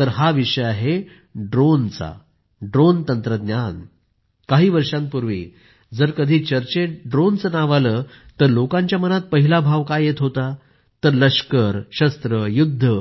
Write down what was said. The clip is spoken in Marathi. हा विषय आहे ड्रोनचा ड्रोन तंत्रज्ञानाचा काही वर्षांपूर्वी जर कधी चर्चेत ड्रोनचं नाव आलं तर लोकांच्या मनात पहिला भाव काय येत होता तर लष्कराचे सेनेचे हत्यार शस्त्रे युद्ध